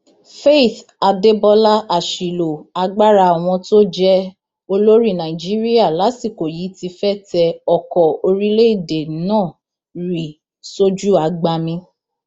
faith adébọlá àṣìlò agbára àwọn tó jẹ olórí nàìjíríà lásìkò yìí ti fẹẹ tẹ ọkọ orílẹèdè náà rì sójú agbami